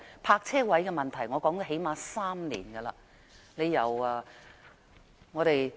泊車位的問題我最少說了3年。